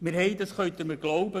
Sie können mir glauben: